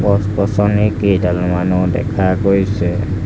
গছ গছনি কেইডালমানো দেখা গৈছে।